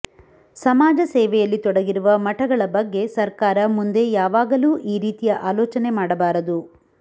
ಸಮಾಜ ಸೇವೆಯಲ್ಲಿ ತೊಡಗಿರುವ ಮಠಗಳ ಬಗ್ಗೆ ಸರ್ಕಾರ ಮುಂದೆ ಯಾವಾಗಲೂ ಈ ರೀತಿಯ ಆಲೋಚನೆ ಮಾಡಬಾರದು